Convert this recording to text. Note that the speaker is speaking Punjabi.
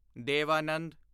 ਦੇਵ ਆਨੰਦ